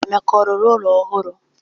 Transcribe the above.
Emeka ọ rụrụ ụlọ ọhụrụ?